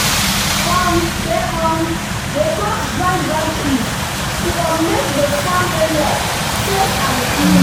um dem um dey cut dry branches to um make the the farm area safe and clean.